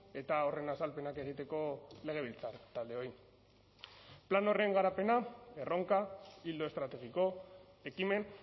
eta horren azalpenak egiteko legebiltzar taldeoi plan horren garapena erronka ildo estrategiko ekimen